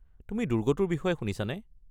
তুমি দুৰ্গটোৰ বিষয়ে শুনিছানে?